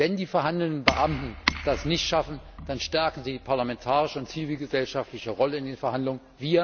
Wenn die verhandelnden Beamten das nicht schaffen, dann stärken sie die parlamentarische und zivilgesellschaftliche Rolle in den Verhandlungen.